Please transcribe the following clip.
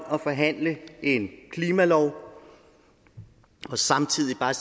og forhandle en klimalov og samtidig bare